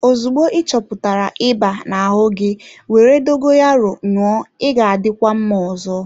Ozugbo ị chọpụtara ịba na-ahụ gi, were dogoyaro ṅụọ ị ga-adịkwa mma ọzọ.